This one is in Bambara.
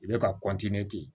I bɛ ka di